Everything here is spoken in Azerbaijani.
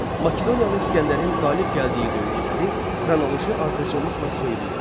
Makedoniyalı İsgəndərin qalib gəldiyi döyüşləri xronoloji ardıcıllıqla söyləyin.